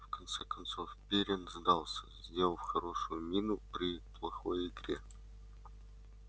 в конце концов пиренн сдался сделав хорошую мину при плохой игре